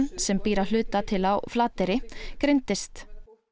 sem býr að hluta til á Flateyri greindist